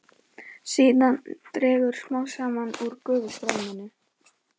Síðan dregur smám saman úr gufustreyminu.